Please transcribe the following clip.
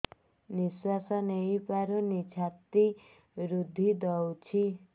ନିଶ୍ୱାସ ନେଇପାରୁନି ଛାତି ରୁନ୍ଧି ଦଉଛି